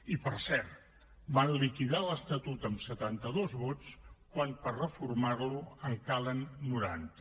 i per cert van liquidar l’estatut amb setanta dos vots quan per reformar lo en calen noranta